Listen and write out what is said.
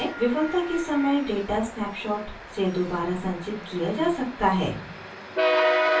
विफलता के समय data snapshot से दोबारा संचित किया data है